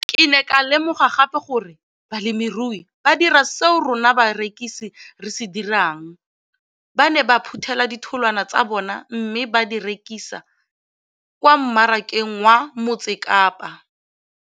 Ke ne ka lemoga gape gore balemirui ba dira seo rona barekisi re se dirang, ba ne ba phuthela ditholwana tsa bona mme ba di rekisa kwa marakeng wa Motsekapa.